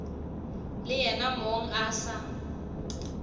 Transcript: le yena mong a sa